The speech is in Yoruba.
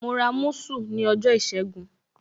Mo ra musu ní ọjọ́ ìṣẹ́gun.